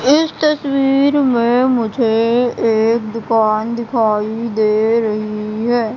इस तस्वीर में मुझे एक दुकान दिखाई दे रही है।